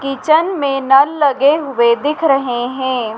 Kitchen में नल लगे हुए दिख रहे हैं।